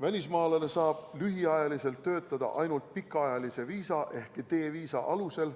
Välismaalane saab lühiajaliselt töötada ainult pikaajalise viisa ehk D-viisa alusel,